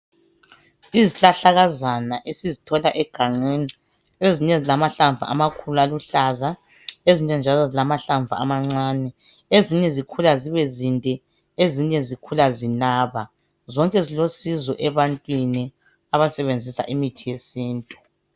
Izihlahlakazana esizithola egangeni. Ezinye zilamahlamvu amakhulu, aluhlaza, ezinye njalo zilamahlamvu amancae. . Ezinye zikhula zibe zinde. Ezinye zikhula zinaba. Zonke ziosizo ebantwini, abasebenzisa imithi yesintu.